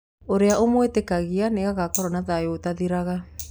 Ũrĩa ũmwĩtĩkagia nĩ agakoro na thayũ ũtathiraga